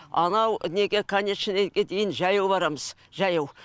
анау неге конечныйге дейін жаяу барамыз жаяу